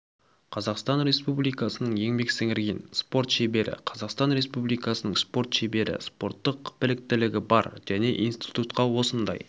қазақстан республикасының еңбек сіңірген спорт шебері қазақстан республикасының спорт шебері спорттық біліктілігі бар және институтқа осындай